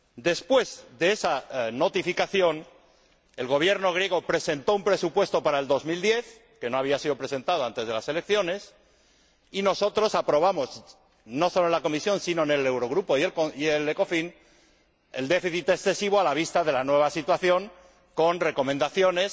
Después de esa notificación, el Gobierno griego presentó un presupuesto para el 2010, que no había sido presentado antes de las elecciones, y nosotros aprobamos, no solo en la Comisión, sino también en el Eurogrupo y el ECOFIN, el déficit excesivo a la vista de la nueva situación, con recomendaciones